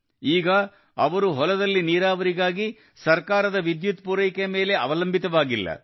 ಈಗ ಅವರು ಹೊಲದಲ್ಲಿ ನೀರಾವರಿಗಾಗಿ ಸರ್ಕಾರದ ವಿದ್ಯುತ್ ಪೂರೈಕೆಯ ಮೇಲೆ ಅವಲಂಬಿತವಾಗಿಲ್ಲ